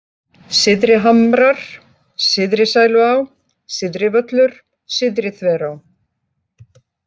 Syðrihamrar, Syðrisæluá, Syðrivöllur, Syðriþverá